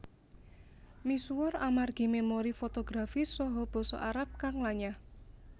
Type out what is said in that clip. Misuwur amargi memori fotografis saha Basa Arab kang lanyah